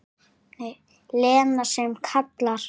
Lena sem kallar.